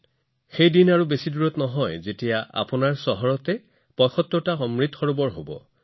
সেই দিনটো বেছি দূৰ নহয় যেতিয়া আপোনালোকৰ নিজৰ চহৰত ৭৫ টা অমৃত সৰোবৰ লাভ কৰিব